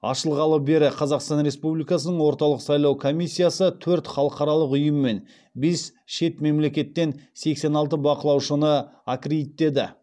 ашылғалы бері қазақстан республикасының орталық сайлау комиссиясы төрт халықаралық ұйым мен бес шет мемлекеттен сексен алты бақылаушыны аккредиттеді